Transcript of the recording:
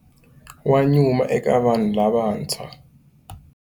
Wa nyuma eka vanhu lavantshwa.